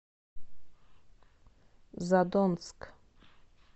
задонск